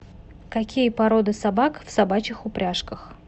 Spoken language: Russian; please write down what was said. какие породы собак в собачих упряжках